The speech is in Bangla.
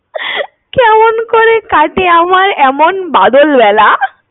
কেমন করে কাটে আমার এমন বাদল বেলা।